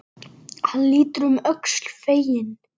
Hann lítur um öxl, feginn.